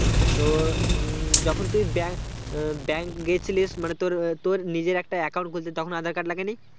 তো উম যখন তুই bank আহ bank গিয়েছিলিস মানে তোরতোর নিজের একটা account খুলতে তখন আধার কার্ড লাগেনি?